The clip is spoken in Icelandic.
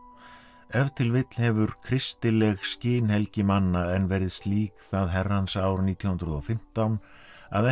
ef til vill hefur kristileg skinhelgi manna enn verið slík það herrans ár nítján hundruð og fimmtán að ekki